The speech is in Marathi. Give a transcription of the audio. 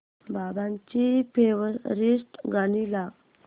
बाबांची फेवरिट गाणी लाव